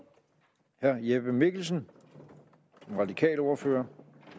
herre jeppe mikkelsen som radikal ordfører